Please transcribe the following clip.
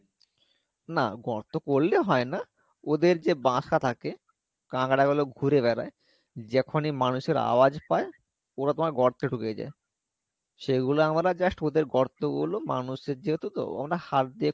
না গর্ত করলে হয় না ওদের যে বাসা থাকে কাকড়া গুলো ঘুরে বেড়াই যখনই মানুষের আওয়াজ পাই ওরা তোমার গর্তে ঢুকে যাই সেইগুলা আমরা just ওদের গর্ত গুলো মানুষের যেহেতু তো ওরা হাত দিয়ে,